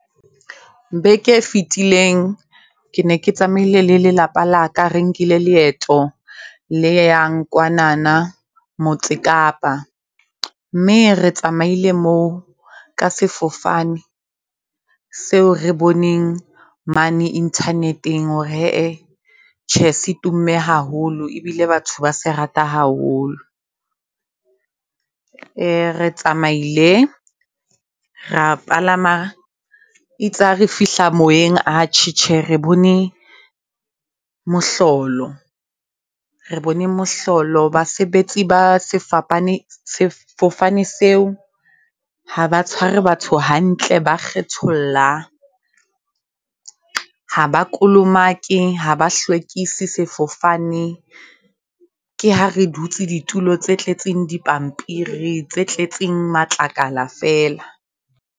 Beke e fetileng ke ne ke tsamaile le lelapa laka re nkile leeto leyang kwanana motse Kapa. Mme re tsamaile moo ka sefofane seo re boneng mane internet-eng hore hee tjhe se tumme haholo. E bile batho ba se rata haholo. Re tsamaile ra palama eitse hare fihla moyeng atjhe, tjhe re bone mohlolo re bone mohlolo. Basebetsi ba sefopane sefofane seo haba tshware batho hantle. Ba kgetholla, haba kolomake, haba hlwekise sefofane. Ke ha re dutse ditulo tse tletseng di pampiri tse tletseng matlakala fela.